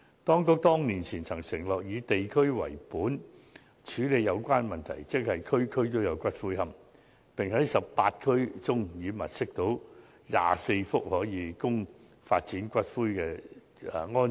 當局多年前承諾以地區為本處理有關問題，即"區區都有龕場"，並指已經在18區物色到24幅用地，可供發展龕場。